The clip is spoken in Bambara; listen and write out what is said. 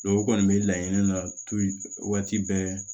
u kɔni bɛ laɲini na waati bɛɛ